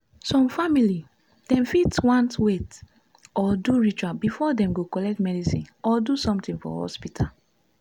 some family dem fit want wait or do ritual before dem go collect medicine or do sumtin for hospital.